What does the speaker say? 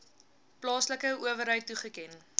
plaaslike owerheid toegeken